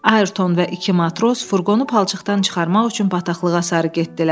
Ayerton və iki matros furqonu palçıqdan çıxarmaq üçün bataqlığa sarı getdilər.